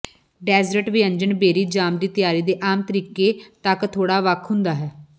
desert ਵਿਅੰਜਨ berry jam ਦੀ ਤਿਆਰੀ ਦੇ ਆਮ ਤਰੀਕੇ ਤੱਕ ਥੋੜ੍ਹਾ ਵੱਖ ਹੁੰਦਾ ਹੈ